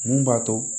Mun b'a to